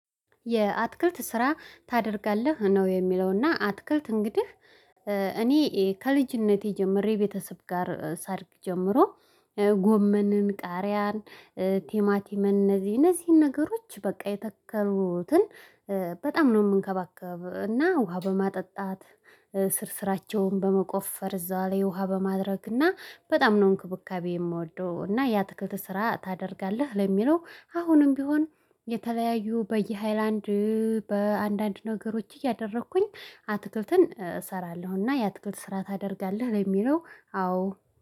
የአትክልት ስራ ታደርጋለህ ነው? የሚለውና አትክልት እንግዲህ እኔ ከልጅነቴ ጀምሬ የቤተሰብ ጋር ሳድርግ ጀምሮ። ጎመንን ቃሪያን ቲማቲመን እነዚህን ነገሮች በቃ የተከሩትን። በጣም ነው የምንከባከብ እና ውሃ በማጠጣት ስር ስራቸውን በመቆፈር እዛው ላይ ውሃ በማድረግ እና በጣም ነው እንክብካቤ የምወደው። እና ያትክልት ስራ ታደርጋለህ ለሚለው አሁንም ቢሆን የተለያዩ በየሃይላንድ በአንዳንድ ነገሮች እያደረኩኝ አትክልትን እሰራለሁና የአትክልት ስራ ታደርጋለህ ለሚለው አዎ